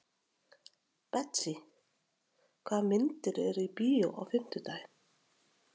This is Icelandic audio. Betsý, hvaða myndir eru í bíó á fimmtudaginn?